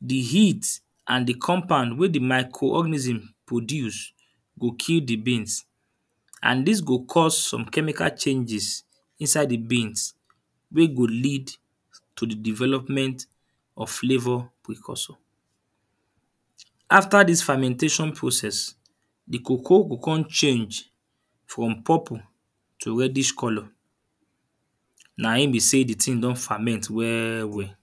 The heat and the compound wey the micro-organism produce go kill the beans. And dis go cause some chemical changes inside the beans wey go lead to the development of flavour precursion. After dis fermentation process the cocoa go con change from pupple to redish colour. Na im be sey the thing don ferment well well.